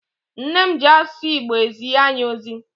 Nne m ji asụsụ Igbo ezi anyị ozi.